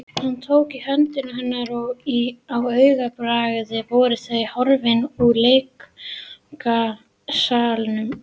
Hann tók í hönd hennar og á augabragði voru þau horfin úr leikfangasalnum.